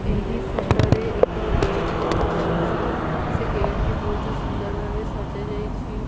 ଏହି ଫଟୋ ରେ ଏକ ଗେଟ ଦେଖାଯାଉଛି ସେ ଗେଟ ଟି ବହୁତ ସୁନ୍ଦର ଭାବେ ସଜାଯାଇଛି।